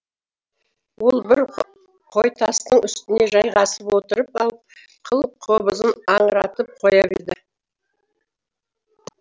ол бір қойтастың үстіне жайғасып отырып алып қыл қобызын аңыратып қоя берді